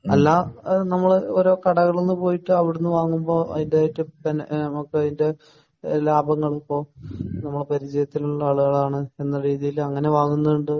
എല്ലാം നമ്മൾ കടകളിൽ പോയിട്ട് അവിടുന്ന് വാങ്ങുമ്പോൾ ലാഭങ്ങൾ ഇപ്പോൾ പരിചയത്തിലുള്ള ആളുകൾ എന്നുള്ള രീതിയിൽ അങ്ങനെ വാങ്ങുന്നത് ഉണ്ട്